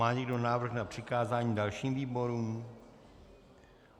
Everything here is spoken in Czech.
Má někdo návrh na přikázání dalším výborům?